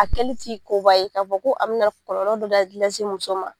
A kɛli ti koba ye k'a fɔ ko a mi na kɔlɔlɔ dɔ da lase muso ma